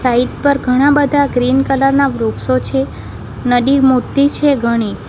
Side પર ઘણા બધા ગ્રીન કલર ના વૃક્ષો છે નદી મોટી છે ઘણી.